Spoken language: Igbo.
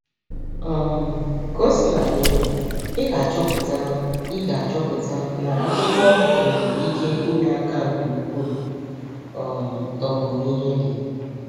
um Ka o sina dị, ị ga-achọpụta ị ga-achọpụta na akwụkwọ nwere ike inye aka nke ukwuu um n’omụmụ ihe gị.